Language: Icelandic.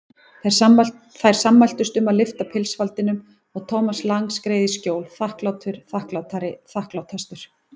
Þær sammæltust um að lyfta pilsfaldinum og Thomas Lang skreið í skjól, þakklátur, þakklátari, þakklátastur.